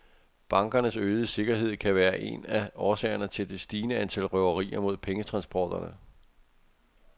Bankernes øgede sikkerhed kan være en af årsagerne til det stigende antal røverier mod pengetransporterne.